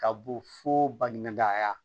Ka bɔ fo baɲuman da